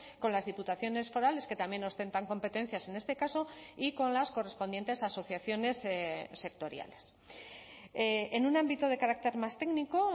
con las diputaciones forales que también ostentan competencias en este caso y con las correspondientes asociaciones sectoriales en un ámbito de carácter más técnico